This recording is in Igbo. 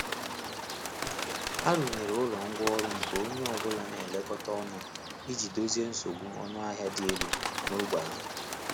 A rụnyere ụlọ ngwá ọrụ nke onye ọbụla n'ekekọta ọnụ iji dozie nsogbu ọnụ ahịa dị elu n’ógbè ahụ.